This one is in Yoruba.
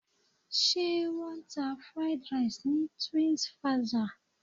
Ṣé wọ́n ń ta Fried Rice ni Twinsfaja?